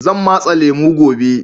Zan matse lemu gobe.